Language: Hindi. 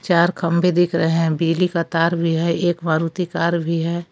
चार खंभे दिख रहे हैं बिजली का तार भी है एक मारुति कार भी है।